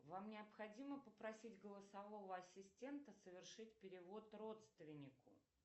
вам необходимо попросить голосового ассистента совершить перевод родственнику